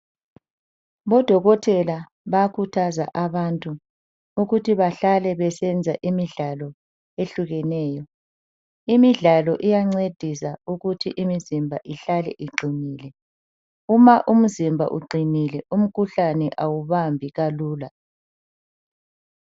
Odokotela bayakhuthaza abantu ukuthi bahlale besenza imidlalo ehlukeneyo. Imidlalo iyancedisa ukuthi imizimba ihlale iqinile. Uma umzimba uqinile umkhuhlane awubambi kalula.